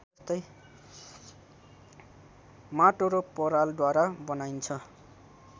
माटो र परालद्वारा बनाइन्छ